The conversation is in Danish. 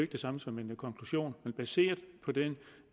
det samme som en konklusion men er baseret på den